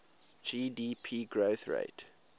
gdp growth rate